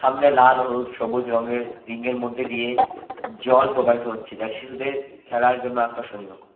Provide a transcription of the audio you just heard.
সামনে লাল হলুদ সবুজ রংয়ের রিংএর মধ্যে দিয়ে জল প্রবাহিত হচ্ছে যা শিশুদের খেলার জন্য আকর্ষণীয়।